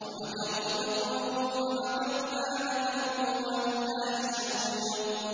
وَمَكَرُوا مَكْرًا وَمَكَرْنَا مَكْرًا وَهُمْ لَا يَشْعُرُونَ